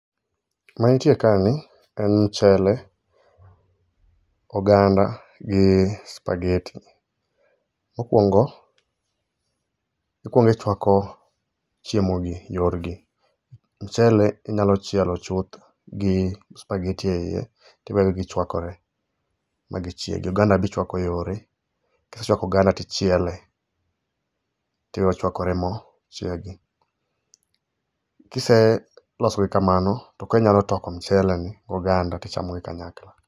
Mantie kani en mchele, oganda gi spageti. Mokuongo, ikuongo ichuako chiemogi yorgi. Mchele inyalo chielo chuth gi spageti eiye tiwegi gichuakore magichiegi. Oganda be ichuako yore. Kisechuako oganda tichiele, tiwe ochuakore ma ochiegi. Kiselosogi kamano to koro inyalo toko mcheleni goganda tichamogi kanyakla.